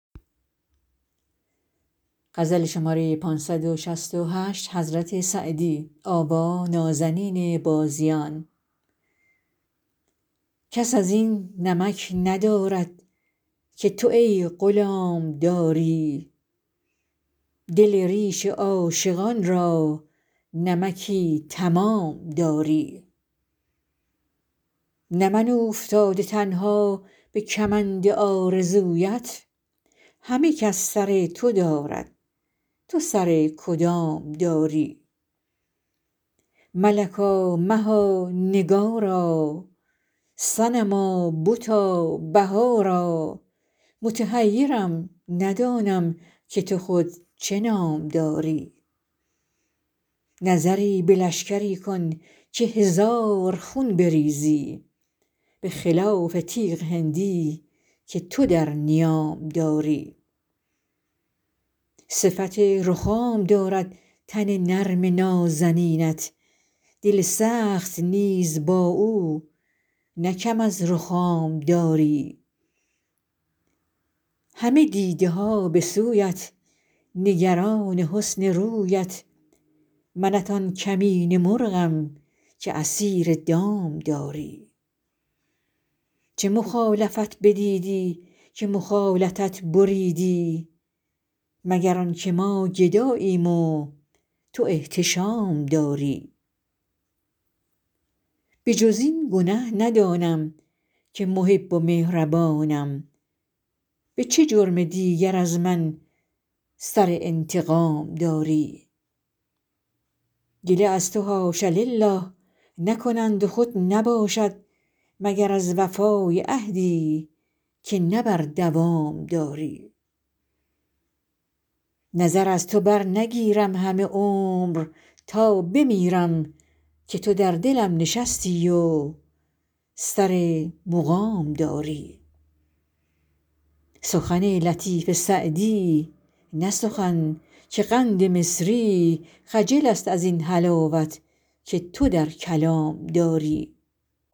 کس از این نمک ندارد که تو ای غلام داری دل ریش عاشقان را نمکی تمام داری نه من اوفتاده تنها به کمند آرزویت همه کس سر تو دارد تو سر کدام داری ملکا مها نگارا صنما بتا بهارا متحیرم ندانم که تو خود چه نام داری نظری به لشکری کن که هزار خون بریزی به خلاف تیغ هندی که تو در نیام داری صفت رخام دارد تن نرم نازنینت دل سخت نیز با او نه کم از رخام داری همه دیده ها به سویت نگران حسن رویت منت آن کمینه مرغم که اسیر دام داری چه مخالفت بدیدی که مخالطت بریدی مگر آن که ما گداییم و تو احتشام داری به جز این گنه ندانم که محب و مهربانم به چه جرم دیگر از من سر انتقام داری گله از تو حاش لله نکنند و خود نباشد مگر از وفای عهدی که نه بر دوام داری نظر از تو برنگیرم همه عمر تا بمیرم که تو در دلم نشستی و سر مقام داری سخن لطیف سعدی نه سخن که قند مصری خجل است از این حلاوت که تو در کلام داری